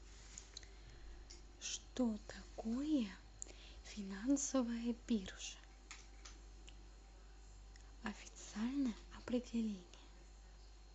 что такое финансовая биржа официальное определение